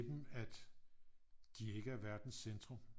At de ikke er verdens centrum